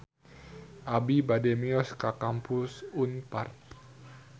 Abi bade mios ka Kampus Unpar